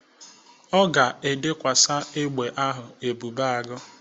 Ọ ga-edekwasa egbe ahụ Ebube Agụ.